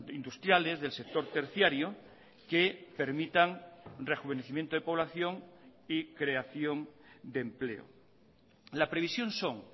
industriales del sector terciario que permitan rejuvenecimiento de población y creación de empleo la previsión son